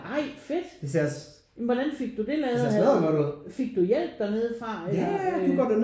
Ej fedt! Hvordan fik du det lavet? Fik du hjælp dernede fra eller øh